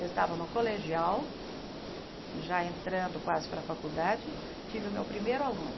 Eu estava no colegial, já entrando quase para a faculdade, tive o meu primeiro aluno.